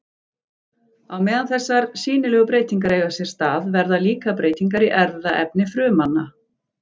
Á meðan þessar sýnilegu breytingar eiga sér stað verða líka breytingar í erfðaefni frumanna.